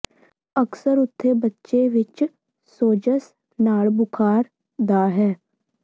ਅਕਸਰ ਉੱਥੇ ਬੱਚੇ ਵਿਚ ਸੋਜ਼ਸ਼ ਨਾਲ ਬੁਖ਼ਾਰ ਦਾ ਹੈ